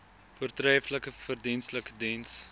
voortreflike verdienstelike diens